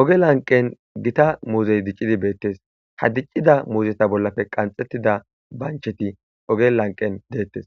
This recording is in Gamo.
Ooge lanqen gita muuzey diccidii de'es ha diccida muuzetta bollappe qanxetida banchchetti ooge lanqen de'etes